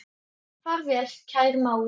Far vel, kæri mágur.